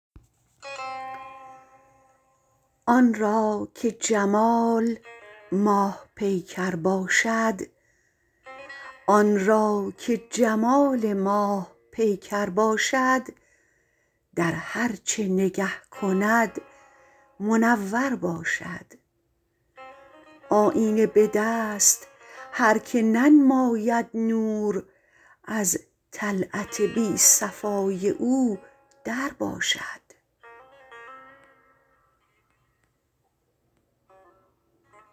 آن را که جمال ماه پیکر باشد در هرچه نگه کند منور باشد آیینه به دست هرکه ننماید نور از طلعت بی صفای او در باشد